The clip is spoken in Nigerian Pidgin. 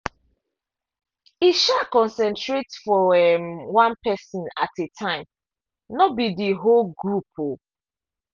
e um concentrate for um one person at a time no be the whole group. um